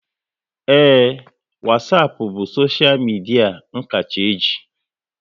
Ee, Wasapu bụ soshia media n kacha e ji